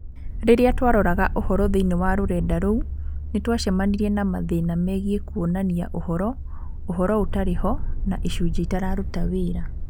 Rĩrĩa twaroraga ũhoro thĩinĩ wa rũrenda rou, nĩ twacemanirie na mathĩna megiĩ kuonania ũhoro, ũhoro ũtarĩ ho, na icunjĩ itararuta wĩra.